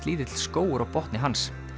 lítill skógur á botni hans